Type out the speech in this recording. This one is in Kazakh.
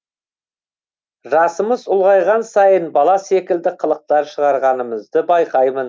жасымыз ұлғайған сайын бала секілді қылықтар шығарғанымызды байқаймын